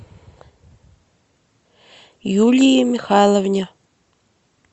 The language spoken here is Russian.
юлии михайловне